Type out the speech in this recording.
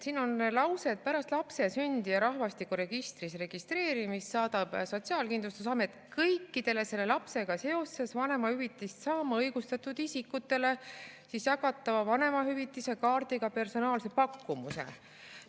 Siin on lause, et pärast lapse sündi ja selle rahvastikuregistris registreerimist saadab Sotsiaalkindlustusamet kõikidele selle lapsega seoses vanemahüvitist saama õigustatud isikutele jagatava vanemahüvitise kaardiga personaalse pakkumuse.